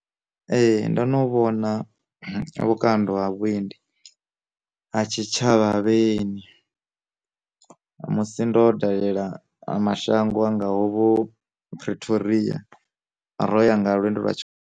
Ee ndo no vhona vhukando ha vhuendi ha tshi tshavha ha vhaeni, musi ndo dalela ma shango angaho vho pretoria ro yanga lwendo lwa tshi.